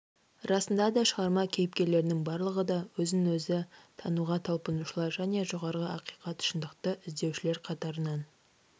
расында да шығарма кейіпкерлерінің барлығы да өзін-өзі тануға талпынушылар және жоғары ақиқат шындықты іздеушілер қатарынан